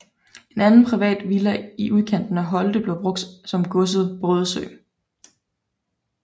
En anden privat villa i udkanten af Holte blev brugt som godset Brydesø